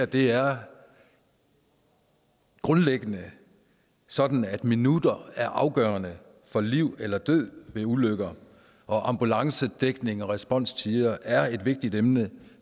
det er grundlæggende sådan at minutter er afgørende for liv eller død ved ulykker og ambulancedækning og responstider er et vigtigt emne